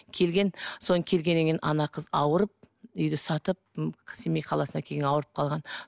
келген содан келгеннен кейін ана қыз ауырып үйді сатып м семей қаласына келген ауырып қалған